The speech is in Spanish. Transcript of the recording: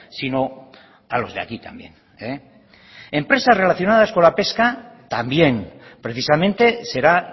sino a los de aquí también empresas relacionadas con la pesca también precisamente será